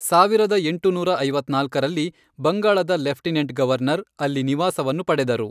ಸಾವಿರದ ಎಂಟುನೂರ ಐವತ್ನಾಲ್ಕರಲ್ಲಿ, ಬಂಗಾಳದ ಲೆಫ್ಟಿನೆಂಟ್ ಗವರ್ನರ್, ಅಲ್ಲಿ ನಿವಾಸವನ್ನು ಪಡೆದರು.